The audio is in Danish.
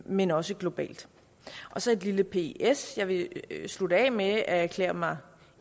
men også globalt og så et lille ps jeg vil slutte af med at erklære mig